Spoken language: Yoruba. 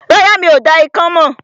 Rárá, mi ò dá ikán mọ̀